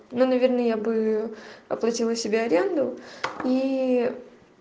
ну наверное я бы оплатила себе аренду ии